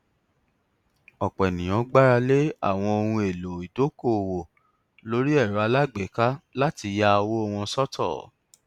ọpọ ènìyàn gbàralẹ àwọn ohun èlò ìdókòwò lórí erò alágbèéká láti ya owó wọn sọtọ